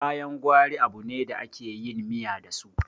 kayan gwari abune da ake yin miya dasu